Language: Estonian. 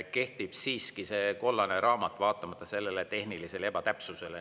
Kehtib siiski see kollane raamat, vaatamata sellele tehnilisele ebatäpsusele.